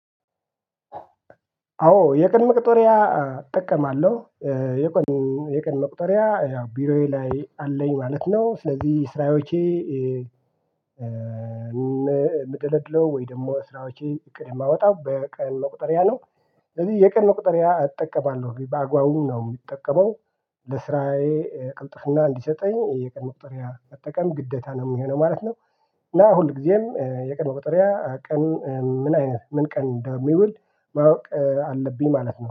አዎ የቀን መቅጠሪያ እጠቀማለሁ። የቀን ኦ የቀን መቁጠሪያ ያው ቢሮዬ ላይ አለኝ ማለት ነው። ስለዚህ ስራዎቼ ኧ እምደለድለው ወይ ደሞ ስራዎቼ እቅድ የማወጣው በቀን ቁጥርያ ነው። ስለዚህ የቀን መቁጥርያ እጠቀባለሁ በአግባቡ ነው እሚጠቀመው። ለስራዬ ቅልጥፍና እንዲሰጠኝ የቀን መቁጠሪያ መጠቀም ግደታ ነው እሚሆነው ማለት ነው። እና ሁልጊዜም የቀን መቆጠሪያ ቀን ምን አይነት ምን ቀን እንደሚውል ማወቅ አለብኝ ማለት ነው